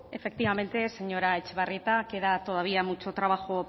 efectivamente señora etxebarrieta queda todavía mucho trabajo